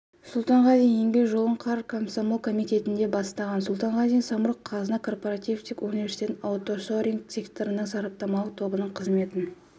сұлтанғазин еңбек жолын қар комсомол комитетінде бастаған сұлтанғазин самұрық-қазына корпоративтік университеті аутсорсинг секторының сараптамалық тобының қызметін